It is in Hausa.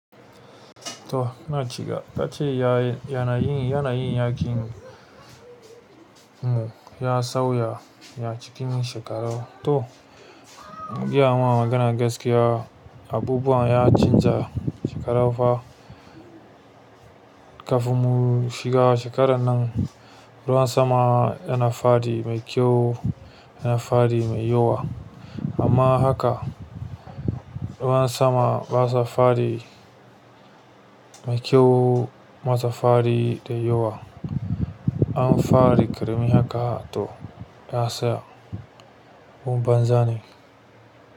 To na cika, tace ya, yanayin, yanayin yakin mu ya sauya ya cikin shekarar to, biya wannan maganan gaskiya abubuwan ya canza shekarar fa. Kafin mu shiga shekarar nan ruwan sama yana faɗi mai kyau, yana faɗi mai yawa amma haka ruwan sama basa faɗi mai kyau, basa faɗi da yawa. An fara da ƙarami haka to ya tsaya ko ban zane.